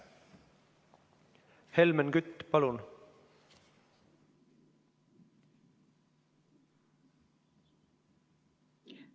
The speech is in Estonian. Helmen Kütt, palun!